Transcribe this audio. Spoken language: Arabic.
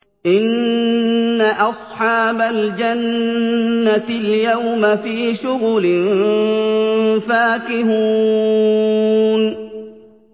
إِنَّ أَصْحَابَ الْجَنَّةِ الْيَوْمَ فِي شُغُلٍ فَاكِهُونَ